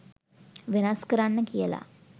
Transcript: වෙනස් කරන්න කියල.